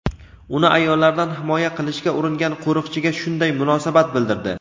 uni ayollardan himoya qilishga uringan qo‘riqchiga shunday munosabat bildirdi.